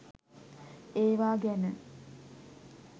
ඒවා ගැන